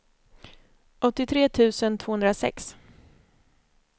åttiotre tusen tvåhundrasex